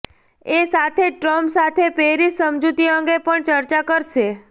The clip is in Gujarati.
એ સાથે જ ટ્રમ્પ સાથે પેરિસ સમજૂતી અંગે પણ ચર્ચા કરશે